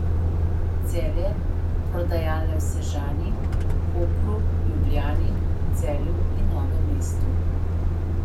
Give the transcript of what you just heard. Celje, prodajalne v Sežani, Kopru, Ljubljani, Celju in Novem mestu.